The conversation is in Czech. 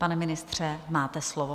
Pane ministře, máte slovo.